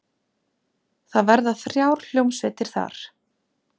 Það verða þrjár hljómsveitir þar.